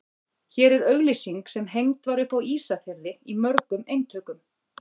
Hér er auglýsing sem hengd var upp á Ísafirði í mörgum eintökum.